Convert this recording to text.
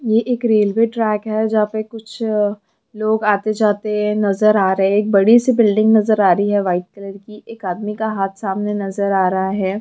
ये एक railway track है जहाँ पर कुछ लोग आते जाते नज़र आ रहे हैं एक बड़ी सी बिल्डिंग नजर आ रही है वाइट कलर की एक आदमी का हाथ नजर आ रहाहै